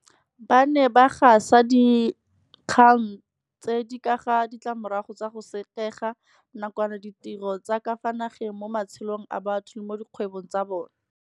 Ba ne ba gasa dinkgang tse di ka ga ditlamorago tsa go sekega nakwana ditiro tsa ka fa nageng mo matshelong a batho le mo dikgwebong tsa bona.